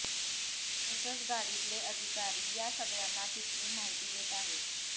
तसंच गाडीतले अधिकारी या सगळ्यांना तिथली माहिती देत आहेत